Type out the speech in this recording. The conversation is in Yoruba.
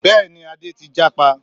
Bẹ́ẹ̀ni Adé ti jápa